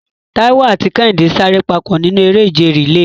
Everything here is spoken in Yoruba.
Taiwo àti Kehinde sáré papọ̀ nínú eré ìje relay.